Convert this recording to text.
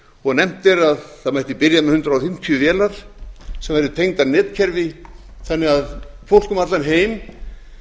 vefmyndavélum nefnt er að það mætti byrja með hundrað fimmtíu vélar sem væru tengdar netkerfi þannig að fólk um allan heim